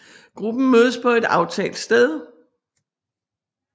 Gruppen mødes på et aftalt sted